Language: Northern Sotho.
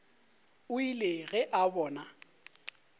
o ile ge a bona